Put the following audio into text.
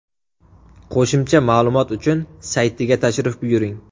Qo‘shimcha ma’lumot uchun saytiga tashrif buyuring.